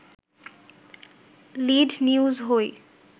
lead news হই